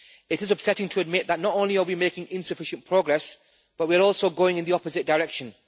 It is upsetting to admit that not only are we making insufficient progress, but we are also going in the opposite direction.